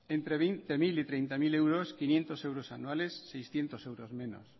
entre veinte mil y treinta mil euros quinientos euros anuales seiscientos euros menos